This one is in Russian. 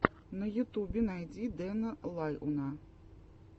на ютубе найди дэна лайона